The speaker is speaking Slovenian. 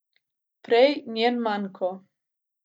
Prej njen manko.